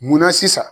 Munna sisan